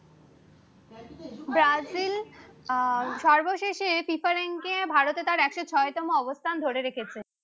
Brazil আহ সর্বশেসে FIFA ranking এ ভারতের তার একশো ছয় তম অবস্থান ধরে রেখেছে